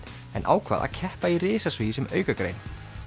en ákvað að keppa í risasvigi sem aukagrein